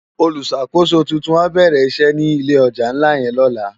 Ólùsákósó tútún á bèrè isè ni ilé òjá nlá yèn lòlá